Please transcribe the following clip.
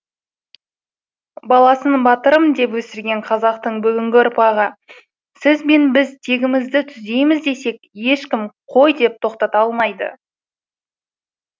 баласын батырым деп өсірген қазақтың бүгінгі ұрпағы сіз бен біз тегімізді түзейміз десек ешкім қой деп тоқтата алмайды